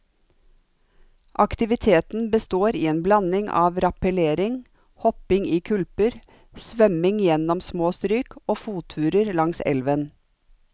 Aktiviteten består i en blanding av rappellering, hopping i kulper, svømming gjennom små stryk og fotturer langs elven.